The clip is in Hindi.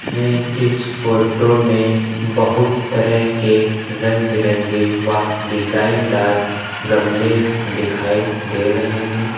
हमें इस फोटो में बहुत तरह के रंग बिरंगे वा डिजाइन दार गमले दिखाई दे रहे हैं।